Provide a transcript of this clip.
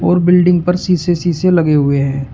वो बिल्डिंग पर शीशे शीशे लगे हुए हैं।